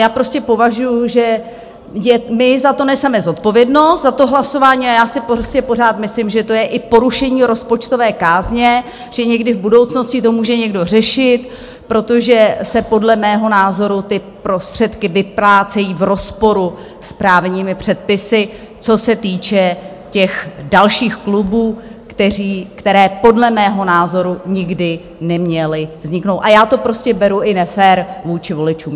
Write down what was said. Já prostě považuji, že my za to neseme zodpovědnost, za to hlasování, a já si prostě pořád myslím, že to je i porušení rozpočtové kázně, že někdy v budoucnosti to může někdo řešit, protože se podle mého názoru ty prostředky vyplácejí v rozporu s právními předpisy, co se týče těch dalších klubů, které podle mého názoru nikdy neměly vzniknout, a já to prostě beru i nefér vůči voličům.